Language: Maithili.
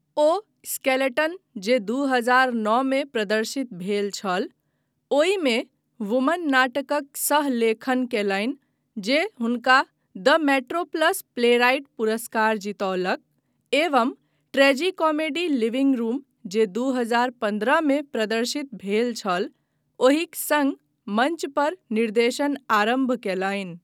ओ स्केलेटन जे दू हजार नओ मे प्रदर्शित भेल छल, ओहिमे वुमन नाटकक सह लेखन कयलनि जे हुनका द मेट्रोप्लस प्लेराइट पुरस्कार जीतौलक, एवं ट्रेजिकोमेडी लिविंग रूम जे दू हजार पन्द्रह मे प्रदर्शित भेल छल, ओहिक सङ्ग मञ्च पर निर्देशन आरम्भ कयलनि।